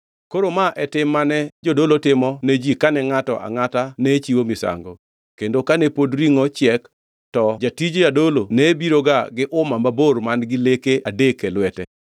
Koro ma e tim mane jodolo timo ne ji kane ngʼato angʼata ne chiwo misango, kendo kane pod ringʼo chiek, to jatij jadolo ne biroga gi uma mabor man-gi leke adek e lwete.